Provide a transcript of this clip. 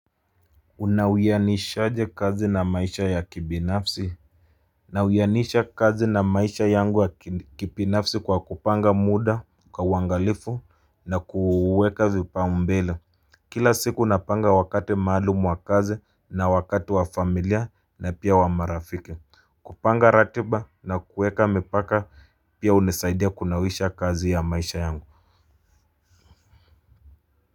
Unawiyanishaje kazi na maisha ya kibinafsi Nawiyanisha kazi na maisha yangu ya kibinafsi kwa kupanga muda kwa uangalifu na kuweka vipaumbele Kila siku napanga wakati maalumu wa kazi na wakati wa familia na pia wa marafiki kupanga ratiba na kuweka mipaka pia hunisaidia kunawisha kazi ya maisha yangu.